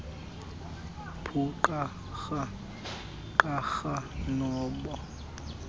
buqharha qharha nobo